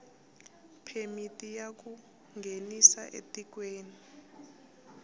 phemiti ya ku nghenisa etikweni